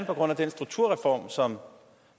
på grund af den strukturreform som